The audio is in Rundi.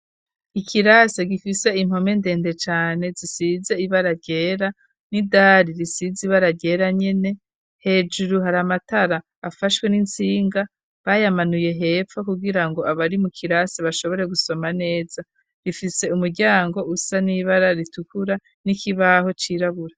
Ikirasi gifise impome ndende cane zisize ibara ryera n'idari risize ibara ryera nyene, hejuru hari amatara afashwe n'intsinga, bayamanuye hepfo kugira ngo abari mu kirasi bashobore gusoma neza. Rifise umuryango usa n'ibara ritukura n'ikibaho cirabura.